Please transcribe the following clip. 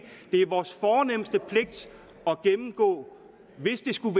det er vores fornemste pligt at gennemgå hvis det skulle